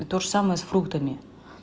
и тоже самое с фруктами